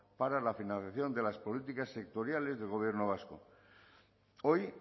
para la financiación de las políticas sectoriales del gobierno vasco hoy